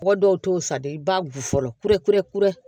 Mɔgɔ dɔw t'o sariya i b'a wusu